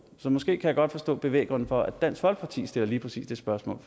så måske kan jeg godt forstå bevæggrunden for at dansk folkeparti stiller lige præcis det spørgsmål